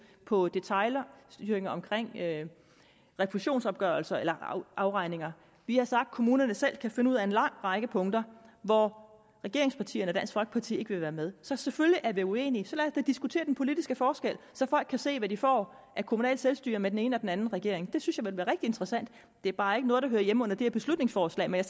på detailstyring omkring refusionsopgørelser eller afregninger vi har sagt at kommunerne selv kan finde ud af en lang række punkter hvor regeringspartierne og dansk folkeparti ikke vil være med så selvfølgelig er vi uenige så lad os da diskutere den politiske forskel så folk kan se hvad de får af kommunalt selvstyre med den ene og den anden regering det synes jeg ville være rigtig interessant det er bare ikke noget der hører hjemme under det her beslutningsforslag men